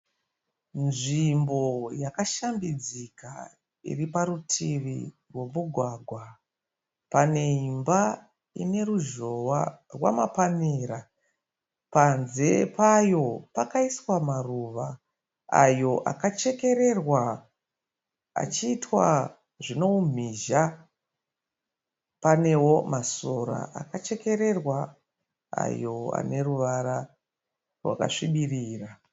Nzvimbo yakashambidzika iri parutivi rwomugwagwa. Pane imba ine ruzhowa rwamapanera. Panze payo pakaiswa maruva ayo akachekererwa achiitwa zvine umhizha. Panewo masora akachekererwa ayo ane ruvara rwakasvibirira.